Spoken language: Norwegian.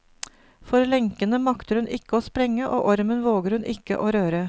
For lenkene makter hun ikke å sprenge, og ormen våger hun ikke å røre.